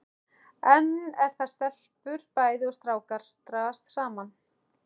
Enn er það að stelpur bæði og strákar dragast saman.